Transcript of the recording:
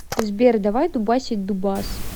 сбер давай дубасить дубас